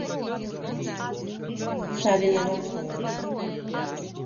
савинова